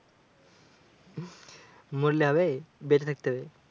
মরলে হবে বেঁচে থাকতে হবে।